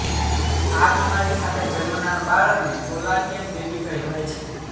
આ બીમારી સાથે જન્મનાર બાળકને કોલાડિયન બેબી કહેવાય છે